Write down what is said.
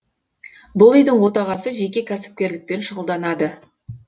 бұл үйдің отағасы жеке кәсіпкерлікпен шұғылданады